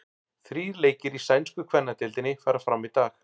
Þrír leikir í sænsku kvennadeildinni fara fram í dag.